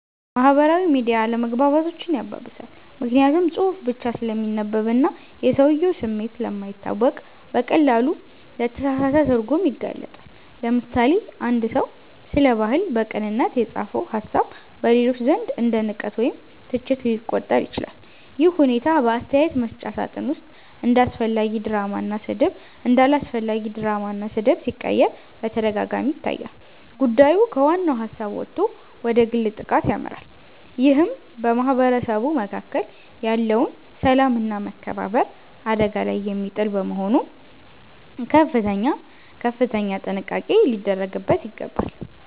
ማህበራዊ ሚዲያ አለመግባባቶችን ያባብሳል። ምክንያቱም ጽሁፍ ብቻ ስለሚነበብና የሰውየው ስሜት ስለማይታወቅ በቀላሉ ለተሳሳተ ትርጉም ይጋለጣል። ለምሳሌ፣ አንድ ሰው ስለ ባህል በቅንነት የጻፈው ሃሳብ በሌሎች ዘንድ እንደ ንቀት ወይም ትችት ሊቆጠር ይችላል። ይህ ሁኔታ በአስተያየት መስጫ ሳጥን ውስጥ ወደ አላስፈላጊ ድራማና ስድብ ሲቀየር በተደጋጋሚ ይታያል። ጉዳዩ ከዋናው ሃሳብ ወጥቶ ወደ ግል ጥቃት ያመራል ይህም በማህበረሰቡ መካከል ያለውን ሰላምና መከባበር አደጋ ላይ የሚጥል በመሆኑ ከፍተኛ ጥንቃቄ ሊደረግበት ይገባል።